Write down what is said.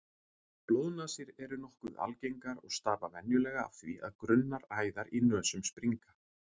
Blóðnasir eru nokkuð algengar og stafa venjulega af því að grunnar æðar í nösum springa.